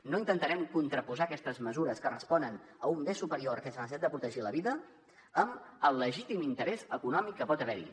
no intentarem contraposar aquestes mesures que responen a un bé superior que és la necessitat de protegir la vida amb el legítim interès econòmic que pot haver hi